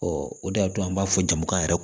o de y'a to an b'a fɔ jama yɛrɛ